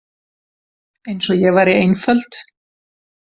Eins og ég væri einföld.